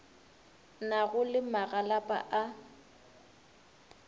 na go le magalapa a